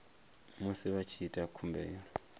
musi vha tshi ita khumbelo